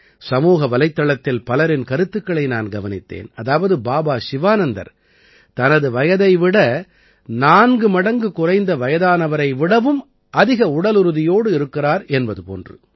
சமூக வலைத்தளத்தில் பலரின் கருத்துக்களை நான் கவனித்தேன் அதாவது பாபா சிவானந்தர் தனது வயதை விட 4 மடங்கு குறைந்த வயதானவரை விடவும் அதிக உடலுறுதியோடு இருக்கிறார் என்பது போன்று